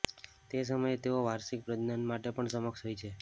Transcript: તે સમયે તેઓ વાર્ષિક પ્રજનન માટે પણ સક્ષમ હોય છે